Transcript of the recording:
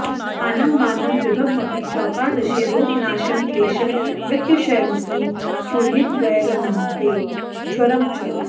स्थानं मानं विभवमपि चैकादशे रोगनाशं क्लेशं वित्तक्षयमपि सुहृद्वैरमन्त्ये ज्वरं च